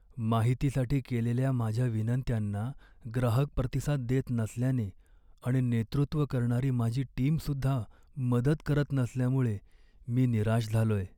माहितीसाठी केलेल्या माझ्या विनंत्यांना ग्राहक प्रतिसाद देत नसल्याने आणि नेतृत्व करणारी माझी टीमसुद्धा मदत करत नसल्यामुळे मी निराश झालोय.